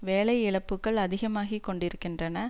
வேலை இழப்புக்கள் அதிகமாகி கொண்டிருக்கின்றன